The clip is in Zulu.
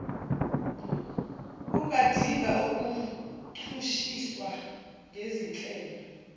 ungadinga ukuchushiswa ngezinhlelo